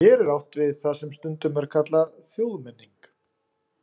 Hér er átt við það sem stundum er kallað þjóðmenning.